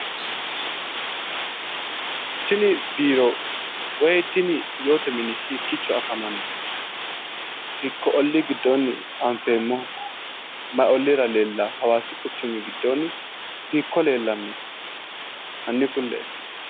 Tini biiro woy yoote biiro hiikkiicho afamanno? ollii giddoonni anfeemmoho?ma olliira leellaaho? Hawaasi quchumi giddoonni hiikko leellanno hanni ku'lee'e?